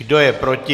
Kdo je proti?